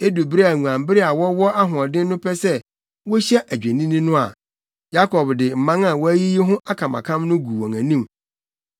Edu bere a nguanbere a wɔwɔ ahoɔden no pɛ sɛ wohyia adwennini no a, Yakob de mman a wayiyi ho akamakam no gu wɔn anim.